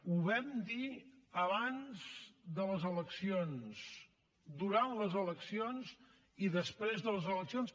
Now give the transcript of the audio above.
ho vam dir abans de les eleccions durant les eleccions i després de les eleccions